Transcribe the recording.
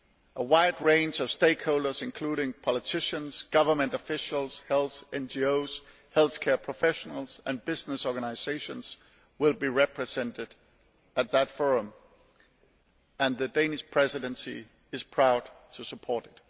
A wide range of stakeholders, including politicians, government officials, health NGOs, healthcare professionals and business organisations, will be represented at that forum, and the Danish Presidency is proud to support